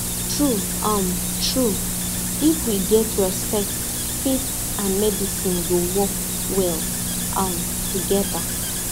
true um true if we get respect faith and medicine go work well um together